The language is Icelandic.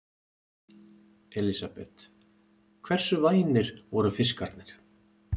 Elísabet: Hversu vænir voru fiskarnir?